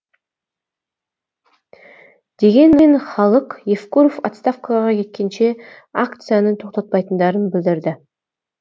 дегенмен халық евкуров отставкаға кеткенше акцияны тоқтатпайтындарын білдірді